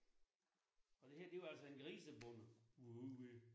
Og det her der var altså en grisebonde vi var ude ved